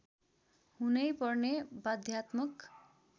हुनैपर्ने बाध्यात्मक